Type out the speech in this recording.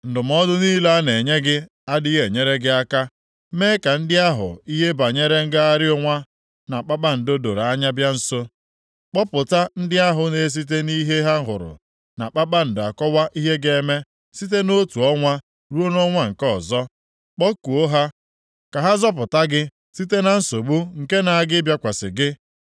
Ndụmọdụ niile a na-enye gị adịghị enyere gị aka. Mee ka ndị ahụ ihe banyere ngagharị ọnwa na kpakpando doro anya bịa nso. Kpọpụta ndị ahụ na-esite nʼihe ha hụrụ na kpakpando akọwa ihe ga-eme site nʼotu ọnwa ruo nʼọnwa nke ọzọ. Kpọkuo ha ka ha zọpụta gị site na nsogbu nke na-aga ịbịakwasị gị.